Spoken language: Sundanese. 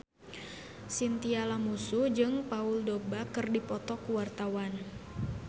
Chintya Lamusu jeung Paul Dogba keur dipoto ku wartawan